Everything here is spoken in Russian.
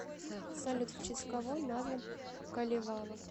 салют в честь кого назван калевала